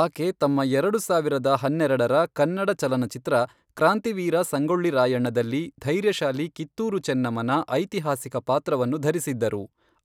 ಆಕೆ ತಮ್ಮ ಎರಡು ಸಾವಿರದ ಹನ್ನೆರೆಡರ ಕನ್ನಡ ಚಲನಚಿತ್ರ ಕ್ರಾಂತಿವೀರ ಸಂಗೊಳ್ಳಿ ರಾಯಣ್ಣದಲ್ಲಿ ಧೈರ್ಯಶಾಲಿ ಕಿತ್ತೂರು ಚೆನ್ನಮ್ಮನ ಐತಿಹಾಸಿಕ ಪಾತ್ರವನ್ನು ಧರಿಸಿದ್ದರು,